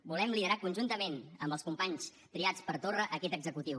volem liderar conjuntament amb els companys triats per torra aquest executiu